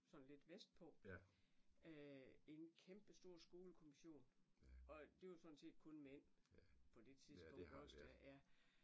Sådan lidt vestpå i en kæmpestor skolekommision og det var sådan set kun mænd på det tidspunkt iggås der ja